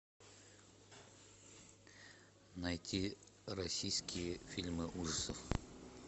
найти российские фильмы ужасов